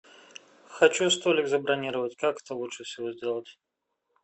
хочу столик забронировать как это лучше всего сделать